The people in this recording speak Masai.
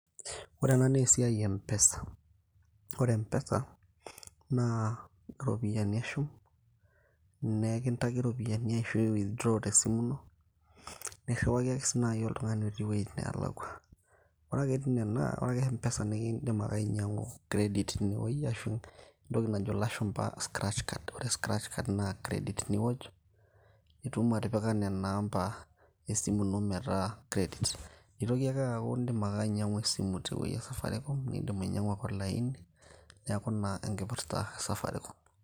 ore ena naa esiai e mpesa, ore mpesa naa iropiyiani eshum nekintaki iropiyiani ashua withdraw tesimu ino nirriwaki ake sii naaji oltung'ani otii wuejitin neelakua ore ake etii nena ore ake mpesa nikiindim ake ainyiang'u credit tinewoi ashu entoki najo ilashumpa scratch cards, ore scratch card naa credit niwoj nitum atipika nena ampa esimu ino metaa credit nitoki aker aaku indim ake ainyiang'u esimu tewueji e safaricom nindim ainyiang'u ake olaini neeku ina enkipirta e safaricom.